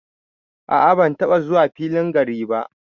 A'a ban taba zuwa filin gari ba.